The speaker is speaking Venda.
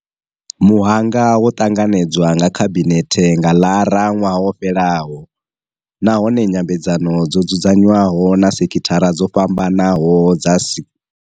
Muhanga wo ṱanganedzwa nga khabinethe nga Ḽara ṅwaha wo fhelaho, nahone nyambedzano dzo dzudza nywaho na sekhithara dzo fhambanaho dza si.